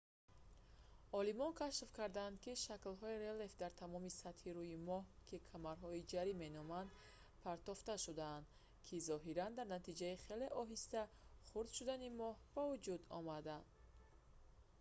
олимон кашф карданд ки шаклҳои релеф дар тамоми сатҳи рӯи моҳ ки камарҳои ҷарӣ меноманд партофта шудаанд ки зоҳиран дар натиҷаи хеле оҳиста хурд шудани моҳ ба вуҷуд омадаанд